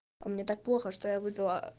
мне так плохо что я выпела